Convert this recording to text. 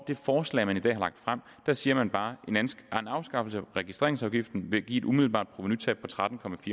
det forslag man i dag har lagt frem siger man bare at en afskaffelse af registreringsafgiften vil give et umiddelbart provenutab på tretten